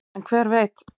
en hver veit